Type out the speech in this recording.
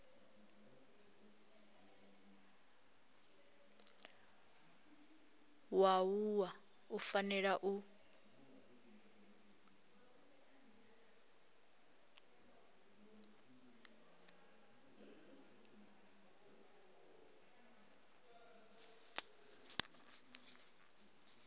wa wua u fanela u